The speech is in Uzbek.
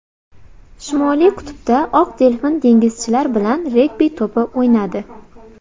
Shimoliy qutbda oq delfin dengizchilar bilan regbi to‘pi o‘ynadi .